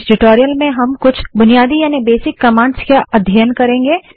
इस ट्यूटोरियल में हम कुछ बेसिक कमांड्स का अध्ययन करेंगे